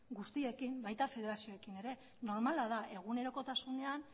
guztiekin baita federazioekin ere normala da egunerokotasunean